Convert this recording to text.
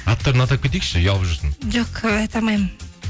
аттарын атап кетейікші ұялып жүрсін жоқ айта алмаймын